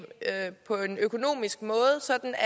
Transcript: på en økonomisk måde sådan at